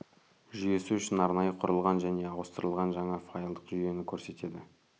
жүйесі үшін арнайы құрылған және ауыстырылған жаңа файлдық жүйені көрсетеді